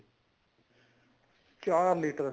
ਚਾਰ litter